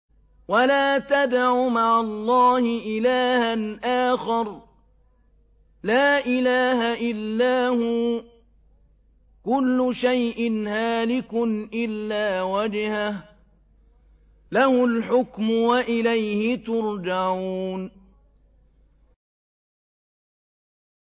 وَلَا تَدْعُ مَعَ اللَّهِ إِلَٰهًا آخَرَ ۘ لَا إِلَٰهَ إِلَّا هُوَ ۚ كُلُّ شَيْءٍ هَالِكٌ إِلَّا وَجْهَهُ ۚ لَهُ الْحُكْمُ وَإِلَيْهِ تُرْجَعُونَ